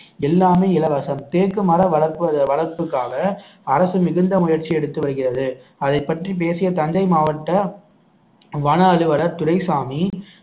எல்லாமே இலவசம் தேக்கு மர வளர்ப்பு வளர்ப்புக்காக அரசு மிகுந்த முயற்சி எடுத்து வருகிறது அதைப் பற்றி பேசிய தஞ்சை மாவட்ட வன அலுவலர் துரைசாமி